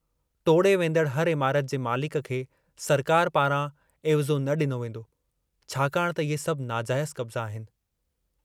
टोड़े वेन्दड़ हर इमारत जे मालिक खे सरकार पारां एविज़ो न डिनो वेन्दो, छाकाणि त इहे सभु नाजाइज़ु कब्ज़ा आहिनि।